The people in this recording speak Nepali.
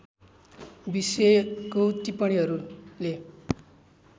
विषयको टिप्पणीहरूले